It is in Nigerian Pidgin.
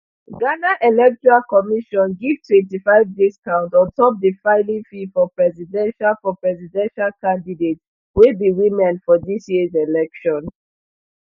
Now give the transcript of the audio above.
ghana electoral commission give twenty-five discount on top di filing fee for presidential for presidential candidates wey be women for dis years election